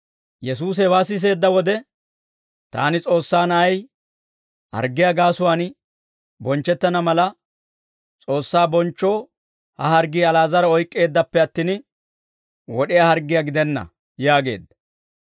Yesuusi hewaa siseedda wode, «Taani S'oossaa Na'ay harggiyaa gaasuwaan bonchchettana mala, S'oossaa bonchchoo ha harggii Ali'aazara oyk'k'eeddappe attin, wod'iyaa harggiyaa gidenna» yaageedda.